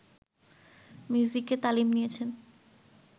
মিউজিকে তালিম নিয়েছেন